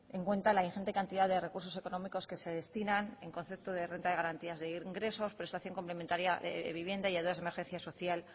en cuenta la ingente cantidad de recursos económicos que se destinan en concepto de renta de garantías de ingresos prestación complementaria de vivienda y ayudas de emergencia social